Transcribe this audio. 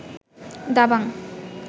Dabangg